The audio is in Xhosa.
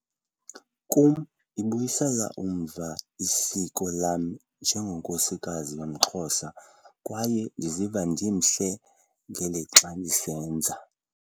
Kum, ibuyisela umva isiko lam njengenkosikazi yomXhosa - kwaye ndiziva ndimhle ngelixa ndisenza.